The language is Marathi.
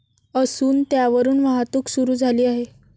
असून, त्यावरून वाहतूक सुरू झाली आहे.